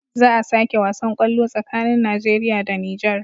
Za a sake wasan kwallo tsakanin nigeria da niger